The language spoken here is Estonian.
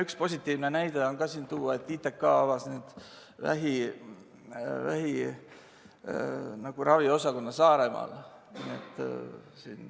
Üks positiivne näide on ka siin tuua: ITK avas nüüd vähiravi osakonna Saaremaal.